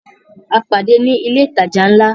A pàdé ní ilé ìtajà ńlá